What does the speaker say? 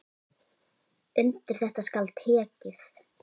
Undir þetta skal tekið.